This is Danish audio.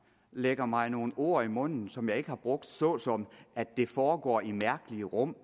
lægger mig nogle ord i munden som jeg ikke har brugt såsom at det foregår i mærkelig rum